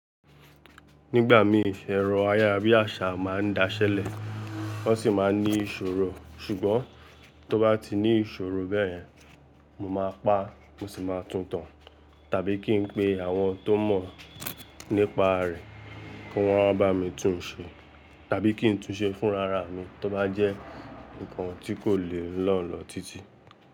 Nígbà mí ẹ̀rọ ayàrá bi asa máa ń daṣẹ́lẹ̀, wọ́n sì máa ń ní ìṣòro, ṣùgbọ́n tó bá ti ní ìṣòro bẹ́ẹ̀ yen, mo máa pa, mo sì máa túntọ̀, tàbí kí n pe àwọn tó mọ̀ nípa rẹ̀ kí wọ́n máa bá mi tún un ṣe, tàbí kí n tún ṣe fúnra ra mi tó bá jẹ́ nǹkan tí kò le lo lọ títí.